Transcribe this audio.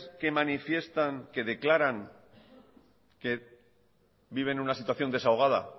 que manifiestan que declaran que viven una situación desahogada